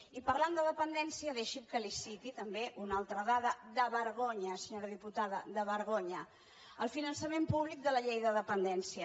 i parlant de dependència deixi’m que li citi també una altra dada de vergonya senyora diputada de vergonya el finançament públic de la llei de dependència